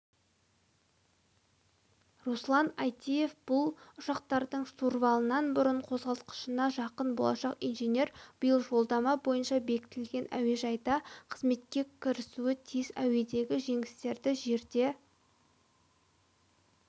руслан айтиев бұл ұшақтардың штурвалынан бұрын қозғалтқышына жақын болашақ инженер биыл жолдама бойынша бекітілген әуежайда қызметке кірісуі тиіс әуедегі жеңістерді жерде